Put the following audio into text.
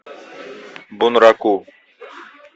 бунраку